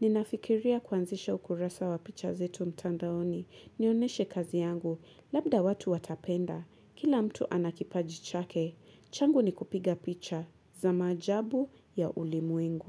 Ninafikiria kwanzisha ukurasa wa picha zetu mtandaoni Nioneshe kazi yangu Labda watu watapenda Kila mtu anakipaji chake changu ni kupiga picha za maajabu ya ulimwengu.